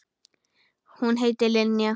Hún heitir Linja.